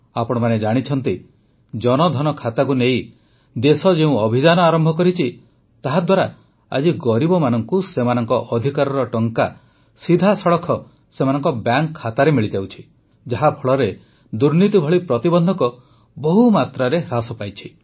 ଆପଣମାନେ ଜାଣିଛନ୍ତି ଜନଧନ ଖାତାକୁ ନେଇ ଦେଶ ଯେଉଁ ଅଭିଯାନ ଆରମ୍ଭ କରିଛି ତାହାଦ୍ୱାରା ଆଜି ଗରିବମାନଙ୍କୁ ସେମାନଙ୍କ ଅଧିକାରର ଟଙ୍କା ସିଧାସଳଖ ସେମାନଙ୍କ ବ୍ୟାଙ୍କ ଖାତାରେ ମିଳିଯାଉଛି ଯାହାଫଳରେ ଦୁର୍ନୀତି ଭଳି ପ୍ରତିବନ୍ଧକ ବହୁମାତ୍ରାରେ ହ୍ରାସ ପାଇଛି